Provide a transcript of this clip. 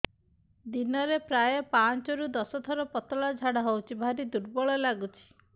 ଦିନରେ ପ୍ରାୟ ପାଞ୍ଚରୁ ଦଶ ଥର ପତଳା ଝାଡା ହଉଚି ଭାରି ଦୁର୍ବଳ ଲାଗୁଚି